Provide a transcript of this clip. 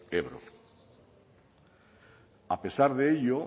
ebro a pesar de ello